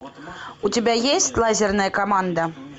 у тебя есть лазерная команда